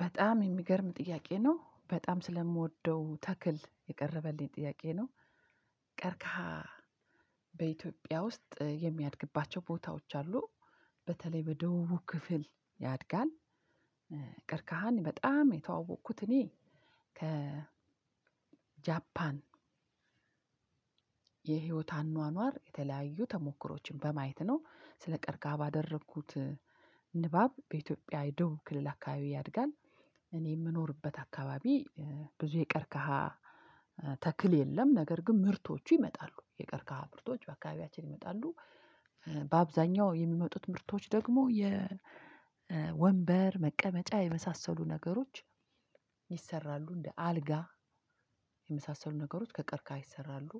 በጣም የሚገርም ጥያቄ ነው በጣም ስለምወደው ተክል የቀረበልኝ ጥያቄ ነው። ቀርቅሃ በኢትዮጵያ ውስጥ የሚያድግባቸው ቦታዎች አሉ በተለይ በደቡብ ክፍል ያድጋል። ቀርቅሃን በጣም የተዋወቅኩት እኔ ከ ጃፓን የህይወት አኗኗር የተለያዩ ተሞክሮዎችን በማየት ነው ስለ ቀርቅሃ ባደረኩት ንባብ በኢትዮጵያ የደበብ ክልል አካባቢ ያድጋል። እኔ የምኖርበት አካባቢ ብዙ የቀርቀሃ ተክል የለም ነገር ግን ምርቶቹ ይመጣሉ የቀርቅሃ ምርቶች በአካባቢያችን ይመጣሉ። በአብዛኛው የሚመጡት ምርቶች ደግሞ የወንበር መቀመጫ የመሳሰሉ ነገሮች። ይሰራሉ እንደ አልጋ የመሳሰሉ ነገሮች ከቀርቅሃ ይሰራሉ።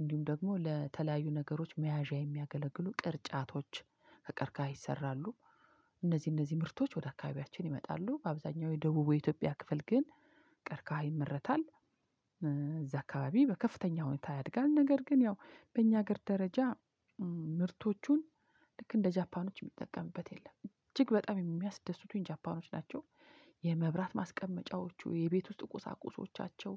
እንዲሁም ደግሞ ለተለያዩ ነገሮች መያዣ የሚያገለግሉ ቅርጫቶች ከቀርቅሃ ይሰራሉ። እነዚህ እነዚህ ምርቶች ወደ አካባቢያችን ይመጣሉ በአብዛኛው የደቡቡ የኢትዮጵያ ክፍል ግን ቀርቅሃ ይመረታል። እዛ አካባቢ በከፍተኛ ሁኔታ ያድጋል ነገር ግን ያው በእኛ ሀገር ደረጃ። ምርቶቹን ልክ እንደ ጃፓኖች የሚጠቀምበት የለም እጅግ በጣም የሚያስደስቱኝ ጃፓኖች ናቸው። የመብራት ማስቀመጫወቹ የቤት ውስጥ ቁሳቁሶቻቸው።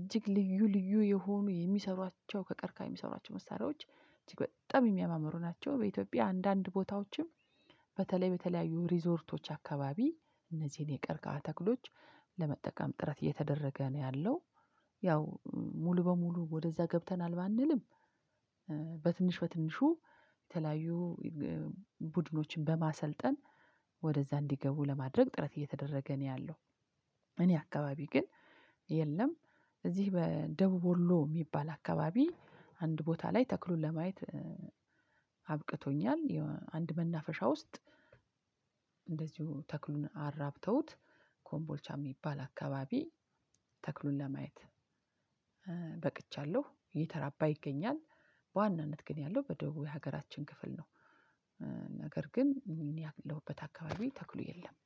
እጅግ ልዩ ልዩ የሆኑ የሚሰሯቸው ከቀርቅሃ የሚሰሯቸው መሳሪያዎች እጅግ በጣም የሚያማምሩ ናቸው። በኢትዮጵያ አንዳንድ ቦታዎችም በተለይ በተለያዩ ሪዞርቶች አካባቢ እነዚህን የቀርቃሃ ተክሎች ለመጠቀም ጥረት እየተደረገ ነው ያለው። ያው ሙሉ በሙሉ ወደዛ ገብተናል ባንልም። በትንሽ በትንሹ የተለያዩ ቡድኖችን በማሰልጠን ወደዛ እንዲገቡ ለማድረግ ጥረት እየተደረገ ነው ያለው። እኔ አካባቢ ግን የለም። እዚህ በደቡብ ወሎ የሚባል አካባቢ አንድ ቦታ ላይ ተክሉን ለማየት አብቅቶኛል። አንድ መናፈሻ ውስጥ። እንደዚሁ ተክሉን አራብተውት ኮምቦልቻ የሚባል አካባቢ ተክሉን ለማየት በቅቻለሁ እየተራባ ይገኛል። በዋናነት ግን ያለው በደቡብ የሀገራችን ክፍል ነው። ነገር ግን እኔ ያለሁበት አካባቢ ተክሉ የለም።